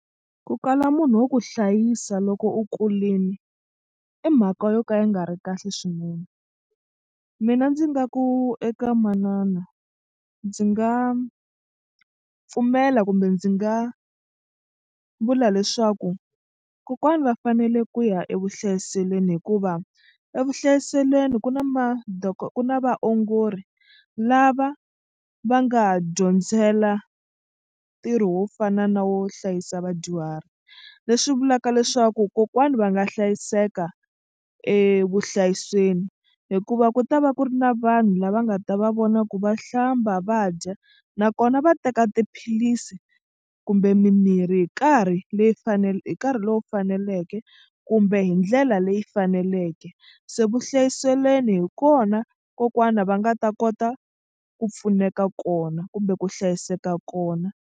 Ku kala munhu wo ku hlayisa loko u kulini i mhaka yo ka yi nga ri kahle swinene. Mina ndzi nga ku eka manana ndzi nga pfumela kumbe ndzi nga vula leswaku kokwani va fanele ku ya evuhlayiselweni hikuva evuhlayiselweni ku na ku na vaongori lava va nga dyondzela ntirho wo fana na wo hlayisa vadyuhari leswi vulaka leswaku kokwana va nga hlayiseka evuhlayisweni hikuva ku ta va ku ri na vanhu lava nga ta va vona ku va hlamba va dya nakona va teka tiphilisi kumbe mimirhi hi nkarhi leyi hi nkarhi lowu faneleke kumbe hi ndlela leyi faneleke se vuhlayiselweni hi kona kokwana va nga ta kota ku pfuneka kona kumbe ku hlayiseka kona.